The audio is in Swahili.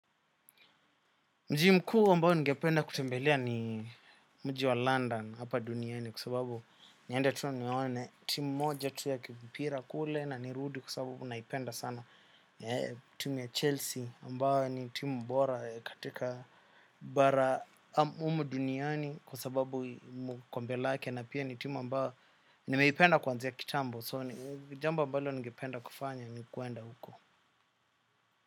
Mji mkuu ambao ningependa kutembelea ni mji wa London hapa duniani kua sababu niende tu niwone timu moja tu ya kimpira kule na nirudi kua sababu naipenda sana. Timu ya Chelsea ambayo ni timu mbora katika bara umu duniani kua sababu mkombe lake na pia ni timu ambayo nimeipenda kwanzia kitambo so jambo ambalo ningependa kufanya ni kuenda huko.